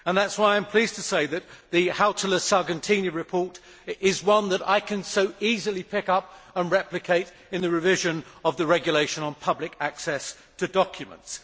That is why I am pleased to say that the Hautala Sargentini report is one that I can so easily pick up and replicate in the revision of the Regulation on public access to documents.